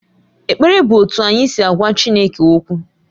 Ekpere bụ otú anyị si agwa Chineke okwu